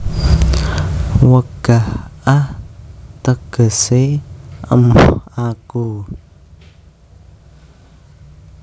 Wegah ah tegese emoh aku